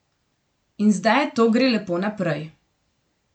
In zdaj to gre lepo naprej ...